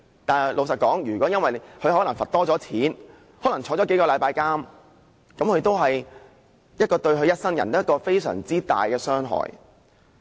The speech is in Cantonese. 但是，老實說，他們可能因此而被提高罰款，可能入獄數星期，這也是對他們一生人非常大的傷害。